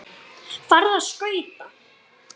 Farðu á skauta.